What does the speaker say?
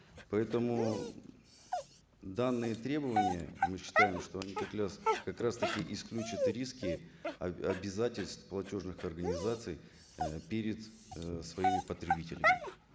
поэтому данные требования мы считаем что они как раз таки исключат риски обязательств платежных организаций ы перед ы своими потребителями